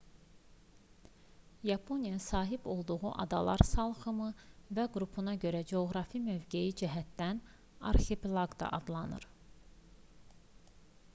yaponiya sahib olduğu adalar salxımı və qrupuna görə coğrafi mövqeyi cəhətdən arxipelaq da adlanır